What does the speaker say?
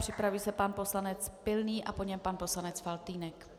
Připraví se pan poslanec Pilný a po něm pan poslanec Faltýnek.